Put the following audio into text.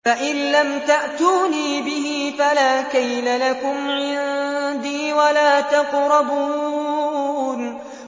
فَإِن لَّمْ تَأْتُونِي بِهِ فَلَا كَيْلَ لَكُمْ عِندِي وَلَا تَقْرَبُونِ